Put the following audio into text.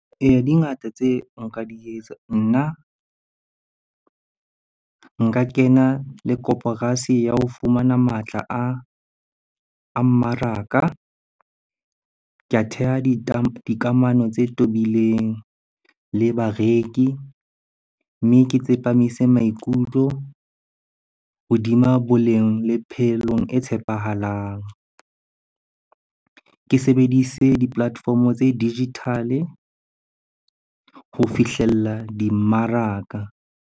Eya, di ngata tseo nka di etsa. Nna nka kena le koporasi ya ho fumana matla a mmaraka. Ka theha dikamano tse tobileng le bareki, mme ke tsepamise maikutlo hodima boleng le phelong e tshepahalang. Ke sebedise di-platform-o tse digital-e ho fihlella dimmaraka.